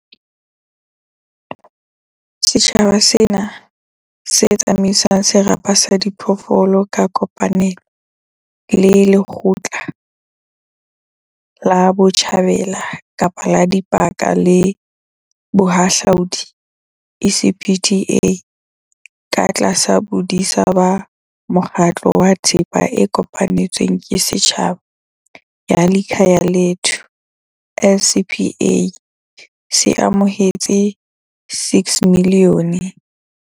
Setjhaba sena, se tsama isang serapa sa diphoofolo ka kopanelo le Lekgotla la Kapa Botjhabela la Dipaka le Bohahlaudi, ECPTA katlasa bodisa ba Mokgatlo wa Thepa e Kopanetsweng ke Setjhaba ya Likhaya lethu LCPA, se amohetse R6 milione